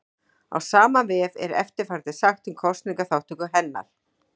Á sama vef er eftirfarandi sagt um kosningaþátttöku hennar: